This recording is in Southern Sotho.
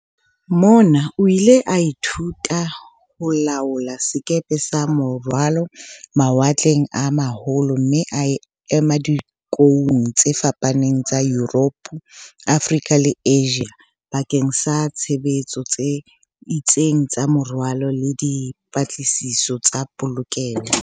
Mona o ile a ithuta ho laola sekepe sa morwalo, mawatleng a ma holo mme a ema dikoung tse fapaneng tsa Yuropo, Afrika le Asia bakeng sa tshebetso tse itseng tsa morwalo le di -patlisiso tsa polokeho.